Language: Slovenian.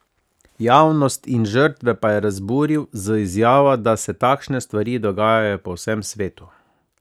Javnost in žrtve pa je razburil z izjavo, da se takšne stvari dogajajo po vsem svetu.